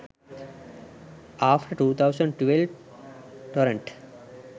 after 2012 torrent